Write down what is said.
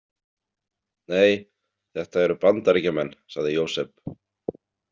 Nei, þetta eru Bandaríkjamenn, sagði Jósep.